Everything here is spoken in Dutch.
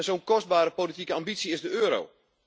Zo'n kostbare politieke ambitie is de euro.